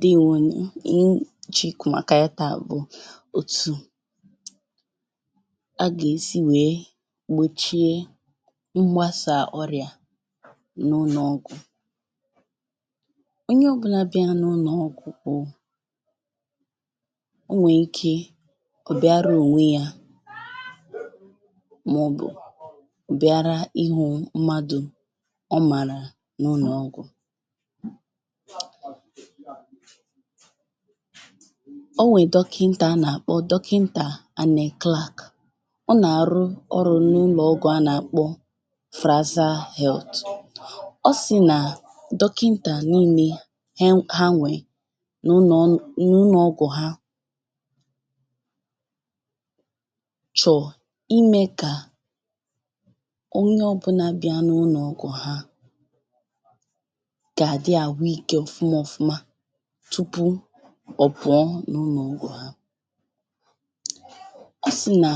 Deewònunù, ihe m chọ̀ọ ikwụ̄ màkà ya taa bụ̀ òtù a gèsi wèe gbòchie mgbasà ọrịà n’ụnọ̀gwụ̀ Onyo ọ̀bụlā biara n’ụnọ̀gwụ̣̀ bụ̀, o nwèè ike ọ̀ biara ònwe yā mọ̀bụ̀ bịara ịhụ̄ mmadụ̀ ọ màrà n’ụnọ̀gwụ̀ O nwè dọkịntà a nàkpọ dọkịntà Ànị̀ Clark Ọ nàrụ ọrụ̄ n’ụlọ̄ọgwụ̄ a nàkpọ Frasal health Ọ sị̀ nà dọkịntà niilē ha nwèè n’ụnọ̄gwụ̀ ha chọ̀ imē kà onyo ọ̀bụlā bịa n’ụnọ̄gwù ha gàdị àhụikē ọ̀fụma ọ̀fuma tupu ọ̀puọ n’ụlọ̀ọgwụ̀ ha Ọ sị̀ nà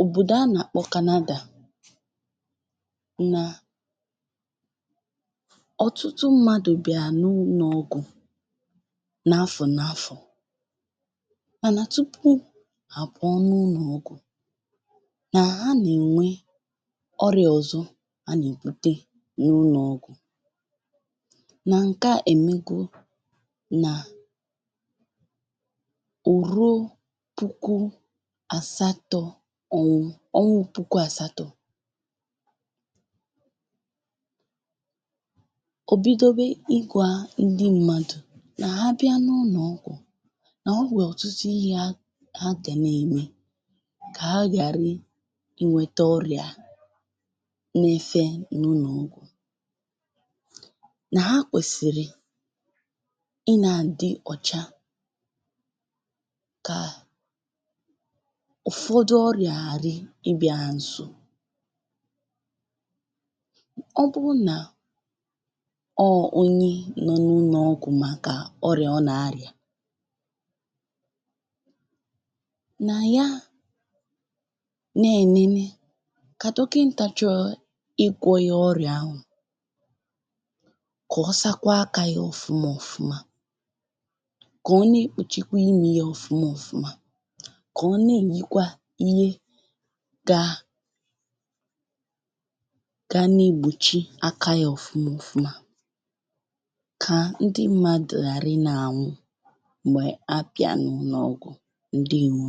òbòdò a nàkpọ Kanadà nà ọ̀tụtụ mmadụ̀ bị̀à n’ụnọ̀ọgwụ̀ n’afọ̀ n’afọ̀ mànà tupu hà pụọ n’ụlọ̀ọgwụ̀ nà ha nènwe ọrịā ọ̀zọ ha nèbute n’ụlọ̀ọgwụ̀ nà ǹke a èmego nà ò ruo puku àsatọ̄ ọnwụ, ọnwụ puku àsatọ̄ ò bidobe ịgwā ndị mmadụ̀ nà ha bia n’ụlòọ̣gwụ̀ nà ha nwèrè ọ̀tụtụ ihē ha gà ne ème kà ha ghàrị inwētē ọrịà nefe n’ụnọ̀ọgwụ̀, nà ha kwèsìrì ị nā-àdị ọ̀cha kà ụ̀fọdụ ọrịà ghàrị ịbịā ha ǹso Ọ bụrụ nà ọọ onye nọ̄ n’ụlọ̀ọgwụ̀ màkà ọrịà ọ nà-arịà nà ya ne-ènene ………….igwọ̄ yā ọrịa anwà kọ̀ ọsakwa akā yā ọ̀fụma ọfụma, kọ̀ ọ nekpùchikwa imī yā ọ̀fụma ọfụma, kọ̀ ọ nemèkwa ihe gā ga negbòchi aka yā ọ̀fụma ọfụma Kà ndị mmadụ̀ ghàrị ị nā-ànwụ m̀gbè abịa n’ụlọ̀ọgwụ̀. Ǹdewo